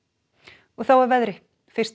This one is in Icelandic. og þá að veðri fyrsti